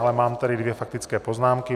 Ale mám tady dvě faktické poznámky.